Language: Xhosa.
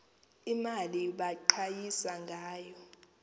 mali baqhayisa ngayo